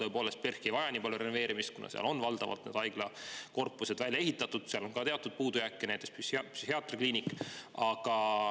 Tõepoolest, PERH ei vaja nii palju renoveerimist, kuna seal on valdavalt haiglakorpused välja ehitatud, ehkki ka seal on teatud puudujääke, näiteks psühhiaatriakliinik.